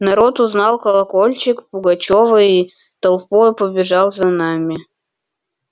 народ узнал колокольчик пугачёва и толпою побежал за нами